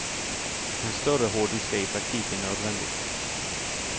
En större hårddisk är i praktiken nödvändigt.